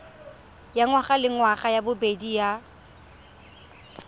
ya ngwagalengwaga ya bobedi ya